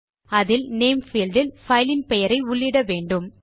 அதில் name field இல் பைலின் பெயரை உள்ளிட வேண்டும்